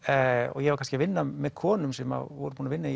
og ég var kannski að vinna með konum sem voru búnar að vinna